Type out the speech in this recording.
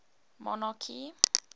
monarchy